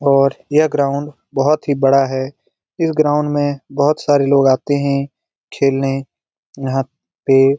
और यह ग्राउंड बोहोत ही बड़ा है। इस ग्राउंड में बोहोत सारे लोग आते है। खेलने यहाँ पे--